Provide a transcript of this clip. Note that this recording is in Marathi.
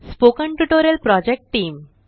spoken tutorial project team